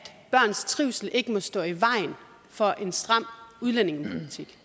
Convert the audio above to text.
børns trivsel ikke må stå i vejen for en stram udlændingepolitik